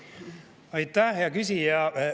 Aitäh, hea küsija!